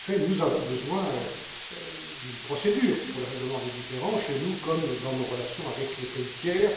En effet, nous avons besoin d'une procédure pour le règlement des différends chez nous comme dans nos relations avec les pays tiers.